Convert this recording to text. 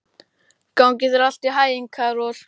Gangi þér allt í haginn, Karol.